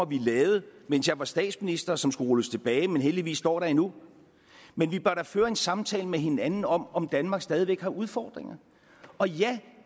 vi lavede mens jeg var statsminister og som skulle rulles tilbage men heldigvis står der endnu men vi bør da føre en samtale med hinanden om om danmark stadig væk har udfordringer